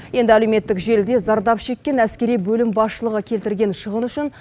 енді әлеуметтік желіде зардап шеккен әскери бөлім басшылығы келтірген шығын үшін